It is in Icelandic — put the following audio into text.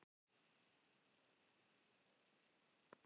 Hún benti á miðja blaðsíðuna og Stjáni byrjaði að lesa.